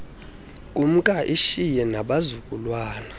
kumka lishiye nabazukulwana